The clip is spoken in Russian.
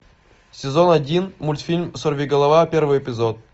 сезон один мультфильм сорвиголова первый эпизод